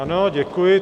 Ano, děkuji.